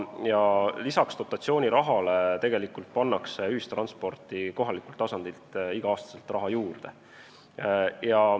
Peale dotatsiooniraha pannakse ühistransporti ka kohalikult tasandilt tegelikult igal aastal raha juurde.